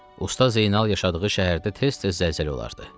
Usta Zeynal yaşadığı şəhərdə tez-tez zəlzələ olardı.